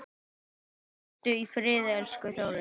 Hvíldu í friði, elsku Þórey.